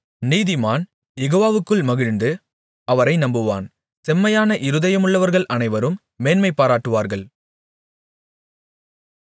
நீதிமான் யெகோவாவுக்குள் மகிழ்ந்து அவரை நம்புவான் செம்மையான இருதயமுள்ளவர்கள் அனைவரும் மேன்மைபாராட்டுவார்கள்